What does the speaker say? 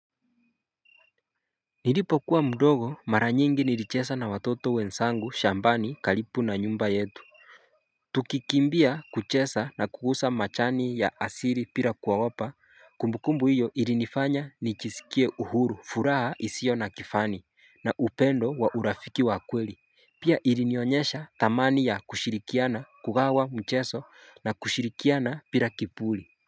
Nilipokuwa mdogo mara nyingi nilichesa na watoto wensangu shambani kalipu na nyumba yetu. Tukikimbia kuchesa na kuusa machani ya asiri pira kuogopa kumbukumbu hiyo irinifanya nichisikie uhuru furaha isio na kifani na upendo wa urafiki wa kweli pia irinionyesha thamani ya kushirikiana kugawa mcheso na kushirikiana pira kipuli.